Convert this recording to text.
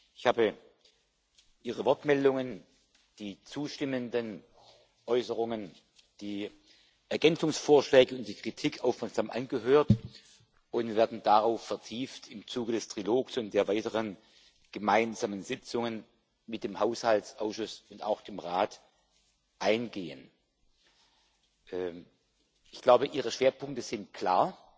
Ich habe Ihre Wortmeldungen, die zustimmenden Äußerungen, die Ergänzungsvorschläge und die Kritik aufmerksam angehört, und wir werden darauf im Zuge des Trilogs und der weiteren gemeinsamen Sitzungen mit dem Haushaltsausschuss und auch dem Rat vertieft eingehen. Ich glaube, Ihre Schwerpunkte sind klar,